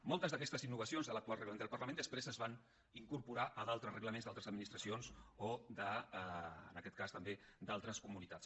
moltes d’aquestes innovacions de l’actual reglament del parlament després es van incorporar a d’altres reglaments d’altres administracions o en aquest cas també d’altres comunitats